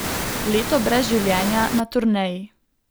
Leto brez življenja na turneji.